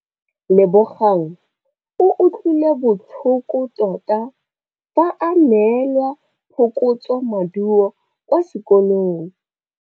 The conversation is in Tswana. Lebogang o utlwile botlhoko tota fa a neelwa phokotsômaduô kwa sekolong.